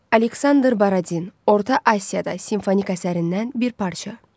Aleksandr Baradin, Orta Asiyada simfonik əsərindən bir parça.